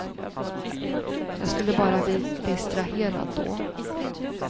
Jag skulle bara bli distraherad då.